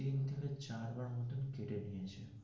চারবার মোটামুটি কেটে নিয়েছে.